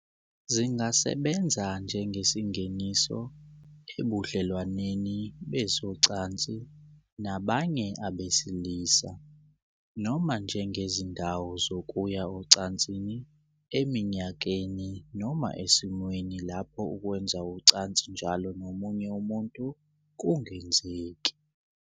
Zingasebenza njengesingeniso ebudlelwaneni bezocansi nabanye abesilisa, noma njengezindawo zokuya ocansini eminyakeni noma esimweni lapho ukwenza ucansi njalo nomunye umuntu kungenzeki.